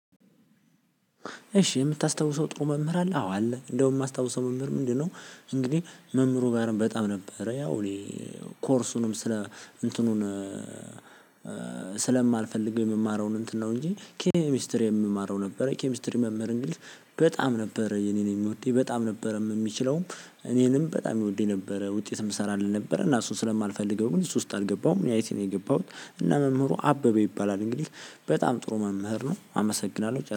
እሺ የምታስታውሰው ጥሩ መምህር አለ አዎ አለ እንደውም የማስታውሰው መምህር ምንድነው? እንግዲህ መምህሩ ባህርን በጣም ነበረ። ያው እኔ ኮርሱንም ስለ እንትኑን ስለማልፈልግ የምማረውን እንትን ነው። እንጂ ኬሚስትሪ የምማረው ነበረ። ኬሚስትሪ መምህር እንግሊዝ በጣም ነበረ የኔን የሚወደኝ በጣም ነበረም የሚችለውም እኔንም በጣም ይወድድደኝ ነበረ። ውጤት የምሰራ አለ ነበረ እና እሱን ስለማልፈልገው ግን እሱ ውስጥ አልገባውም። እኔ አይት ነው የገባሁት። እና መምህሩ አበበ ይባላል እንግዲህ በጣም ጥሩ መምህር ነው። አመሰግናለሁ